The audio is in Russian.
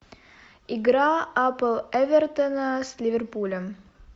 игра апл эвертона с ливерпулем